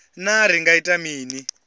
naa ri nga ita mini